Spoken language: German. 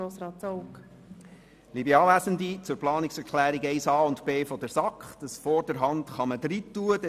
Zu den Planungserklärungen 1a und 1b der SAK: Das Wort «vorderhand» kann aufgenommen werden.